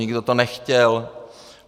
Nikdo to nechtěl.